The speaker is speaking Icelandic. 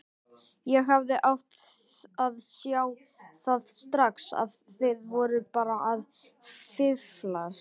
Ég hefði átt að sjá það strax að þið voruð bara að fíflast.